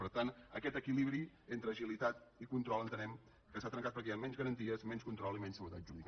per tant aquest equilibri entre agilitat i control entenem que s’ha trencat perquè hi ha menys garanties menys control i menys seguretat jurídica